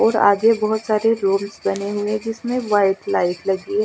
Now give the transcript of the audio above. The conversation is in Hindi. ओर आगे बहोत सारे रूम्स बने हुए है जिसमे वाईट लाईट लगी ह--